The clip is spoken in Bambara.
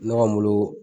Ne ka moto